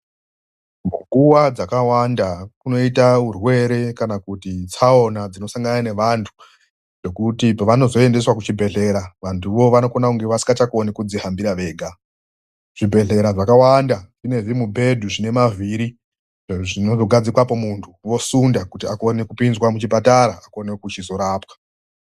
Munguva dzakawanda munoita zvirwere kana tsaona inosangana nevandu zvekuti pavanoendeswa kuzvibhedhlera vanenge vasinga chagoni kuzvifambira vega ,zvibhedhlera zvakawanda zvine zvimubhedha zvine mavhiri zvekusundwa uchipinzwa muchi bhedhlera uzorapwa.